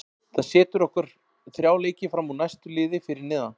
Það setur okkur þrjá leiki fram úr næsta liði fyrir neðan.